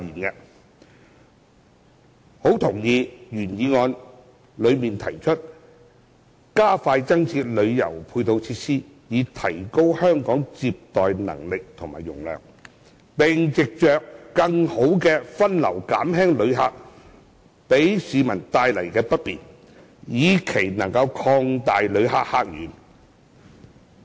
我相當認同原議案提出"加快增設旅遊配套設施，以提高香港接待旅客的能力和容量，並藉著更好的分流減輕旅客給市民帶來的不便，以期能擴大旅客客源"。